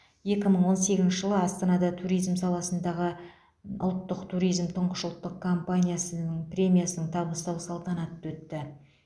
екі мың он сегізінші жылы астанада туризм саласындағы ұлттық туризм тұңғыш ұлттық компаниясының премиясын табыстау салтанаты өтті